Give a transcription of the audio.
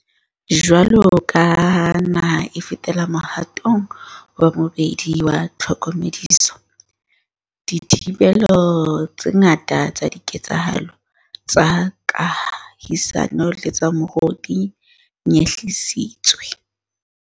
Jwaloka ha naha e fetela mohatong wa bobedi wa tlhokomediso, dithibelo tse ngata tsa diketsahalo tsa kahisano le tsa moruo di nyehlisitswe.